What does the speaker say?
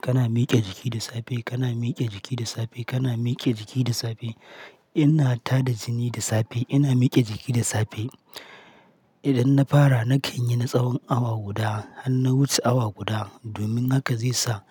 Kana miƙe jiki da safe, kana miƙe jiki da safe, kana miƙe jiki da safe. Ina tada jini da safe, ina mike jiki da safe. Idan na fara, na kan yi na tsawon awa guda har na wuce awa guda domin haka zai sa